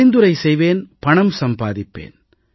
பரிந்துரை செய்வேன் பணம் சம்பாதிப்பேன்